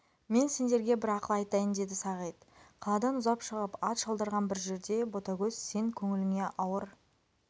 мен сендерге бір ақыл айтайын деді сағит қаладан ұзап шығып ат шалдырған бір жерде ботагөз сен көңіліңе ауыр